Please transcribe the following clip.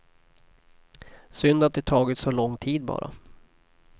Synd att det tagit så lång tid bara.